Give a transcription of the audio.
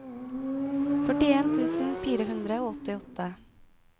førtien tusen fire hundre og åttiåtte